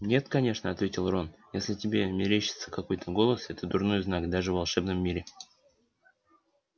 нет конечно ответил рон если тебе мерещится какой-то голос это дурной знак даже в волшебном мире